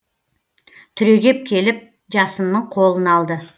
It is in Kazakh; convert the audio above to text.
түрегеп келіп жасынның қолын алды